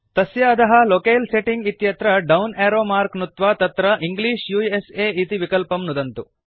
तस्य अधः locale setting इत्यत्र डौन् एरो मार्क् नुत्वा तत्र इंग्लिश उस इति विकल्पं नुदन्तु